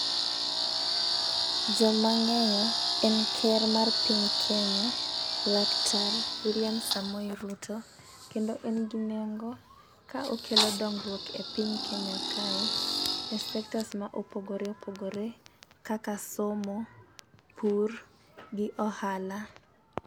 Jomang'eyo en ker mar piny Kenya laktar wiliam Samoei Ruto kendo en gi nengo ka okelo dongruok e piny kenya kae e sectors ma opogore opogore kaka somo, pur gi ohala.